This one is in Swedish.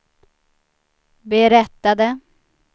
berättade